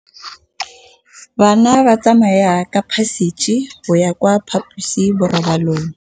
Bana ba tsamaya ka phašitshe go ya kwa phaposiborobalong.